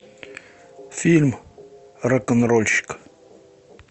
фильм рок н рольщик